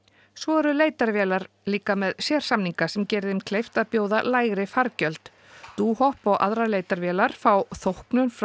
svo eru leitarvélar líka með sérsamninga sem geri þeim kleift að bjóða lægri fargjöld dohop og aðrar leitarvélar fá þóknun frá